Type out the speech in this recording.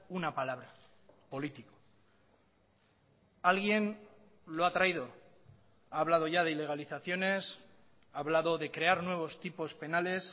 una palabra político alguien lo ha traído ha hablado ya de ilegalizaciones ha hablado de crear nuevos tipos penales